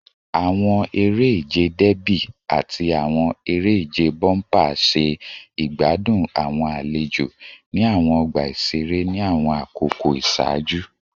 Awọn ere-ije Derby ati awọn ere-ije bompa ṣe igbadun awọn alejo ni awọn ọgba iṣere ni awọn akoko iṣaaju